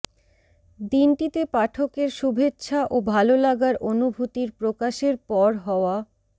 দিনটিতে পাঠকের শুভেচ্ছা ও ভালোলাগার অনুভূতির প্রকাশের পর হওয়া